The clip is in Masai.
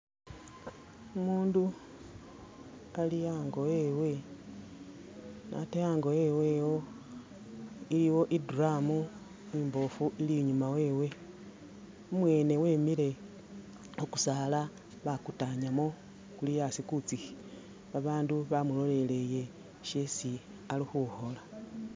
Umundu ali ango ewe, ne ate ango ewe iwo iliwo i drum imbofu ili inyuma wewe,u mwene wemile khu kusaala bakutanyamo kuli asi kutsikhi ba bandu bamuloleleye shesi ali khukhola.